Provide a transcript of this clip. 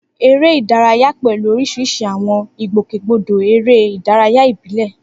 Eré ìdárayá pẹ̀lú oríṣiríṣi àwọn ìgbòkègbodò eré ìdárayá ìbílẹ̀.